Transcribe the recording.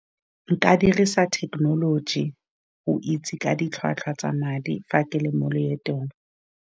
Nka dirisa thekenoloji go itse ka ditlhwatlhwa tsa madi, fa ke le mo loetong.